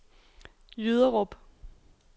Jyderup